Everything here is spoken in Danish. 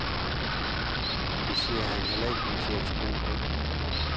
Det ser han heller ikke ud til at tro på.